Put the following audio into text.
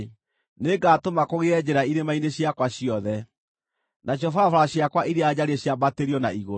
Nĩngatũma kũgĩe njĩra irĩma-inĩ ciakwa ciothe, nacio barabara ciakwa iria njariĩ ciambatĩrio na igũrũ.